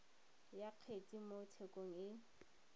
ya kgetse mo tshekong e